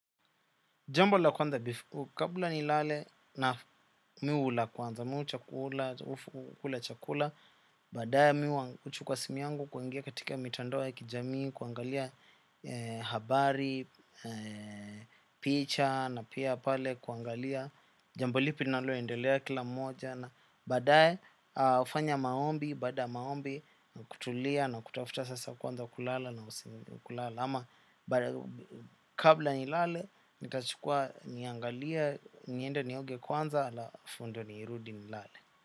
Jambo la kwanza, kabla nilale naam mi hula kwanza, mi hu chakula, ufu kula chakula, baadae mi huchukuwa simu yangu kuingia katika mitandoa ya kijami, kuangalia habari, picha na pia pale kuangalia, jambo lipi linaloendelea kila moja, badae hufanya maombi, baada ya maombi, kutulia na kutafuta sasa kwanza kulala na usimi kulala. Ama, kabla nilale, ni ltachukua niangalie, niende nioge kwanza alafu ndio nirudi nilale.